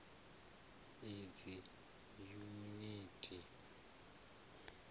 idzi yuniti nls i d